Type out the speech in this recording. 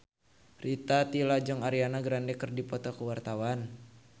Rita Tila jeung Ariana Grande keur dipoto ku wartawan